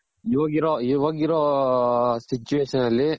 ಇವಾಗಿರೋ ಇವಾಗಿರೋ situation ಅಲ್ಲಿ ಇವಾಗ